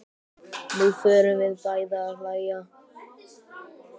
Nú förum við bæði að hlæja.